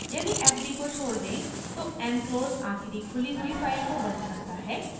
यदि fd को छोड़ दें तो mclose आखिरी खुली हुई फाइल को बंद करता है